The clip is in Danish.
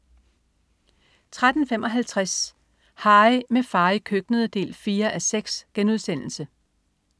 13.55 Harry, med far i køkkenet 4:6*